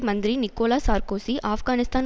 Mantri Nicolas Sarkozy Afghanistan